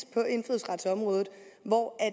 på indfødsretsområdet hvor